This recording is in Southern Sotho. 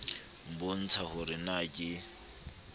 nbotsa ho re na ke